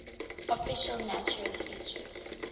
official naturist beaches